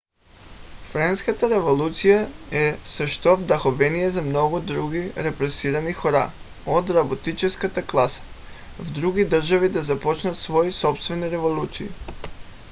френската революция е също вдъхновение за много други репресирани хора от работническата класа в други държави да започнат свои собствени революции